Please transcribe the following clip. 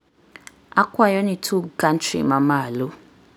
akwayo ni tug country ma malo